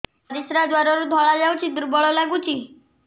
ପରିଶ୍ରା ଦ୍ୱାର ରୁ ଧଳା ଧଳା ଯାଉଚି ଦୁର୍ବଳ ଲାଗୁଚି